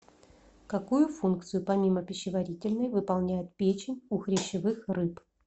какую функцию помимо пищеварительной выполняет печень у хрящевых рыб